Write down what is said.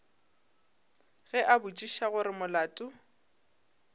ge a botšiša gore molato